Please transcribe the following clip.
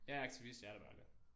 Jeg er aktivist jeg er der bare aldrig